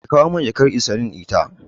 Kawo min jakar insulin ɗita.